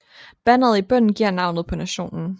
Banneret i bunden giver navnet på nationen